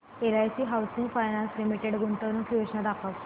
LIC housing finance limited गुंतवणूक योजना दाखव